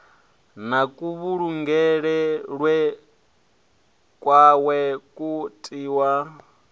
na kuvhulungelwe kwawe u tiwa